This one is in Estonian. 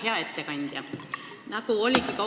Hea ettekandja!